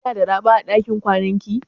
Kina da raɓa a dakin kwanan ki?